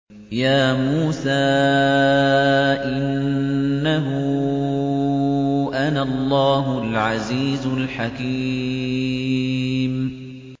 يَا مُوسَىٰ إِنَّهُ أَنَا اللَّهُ الْعَزِيزُ الْحَكِيمُ